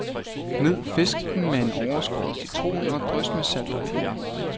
Gnid fisken med overskåret citron og drys med salt og peber.